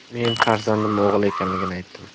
Men farzandim o‘g‘il ekanligini aytdim.